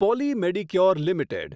poly Medicure limited